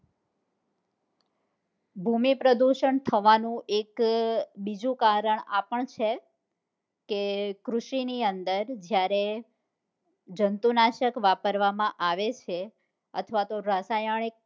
ભૂમિ પ્રદુષણ થવા નું એક બીજું કારણ આપણ છે કે કૃષિ ની અંદર જયારે જન્તુનાશક વાપરવામાં આવેછે અથવા તો રાસાયણિક